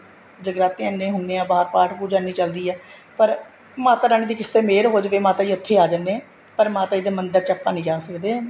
ਜਗਰਾਤੇ ਐਨੇ ਹੁੰਦੇ ਹੈ ਬਹਾਰ ਪਾਠ ਪੁੱਜਾਂ ਐਨੀ ਚੱਲਦੀ ਹੈ ਪਰ ਮਾਤਾ ਰਾਣੀ ਦੀ ਕਿਸੇ ਤੇ ਮੇਹਰ ਹੋ ਜਵੇ ਮਾਤਾ ਜੀ ਇੱਥੇ ਆ ਜਾਣੇ ਹੈ ਪਰ ਮਾਤਾ ਜੀ ਦੇ ਮੰਦਿਰ ਵਿੱਚ ਆਪਾਂ ਨਹੀਂ ਜਾ ਸਕਦੇ